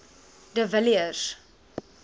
de villiers